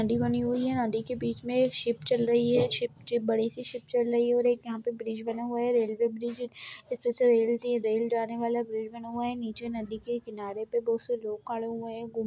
नदी बनी हुई है नदी के बीच मे एक शिप चल रही है शिप एक बड़ी-सी शिप चल रही है और एक यहां पे ब्रिज बना हुआ है रेलवे ब्रिज इस पर से रेल टी रेल जाने वाला ब्रिज बना हुआ है नीचे नदी के किनारे पे बहुत से लोग खड़े हुए है गुम --